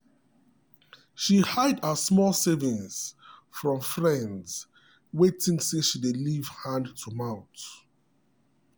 she hide her small savings from friends wey think say she dey live hand to mouth.